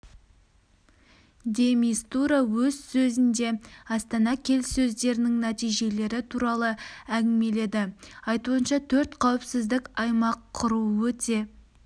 де мистура өз сөзінде астана келіссөздерінің нәтижелері туралы әңгімеледі айтуынша төрт қауіпсіздік аймақ құру өте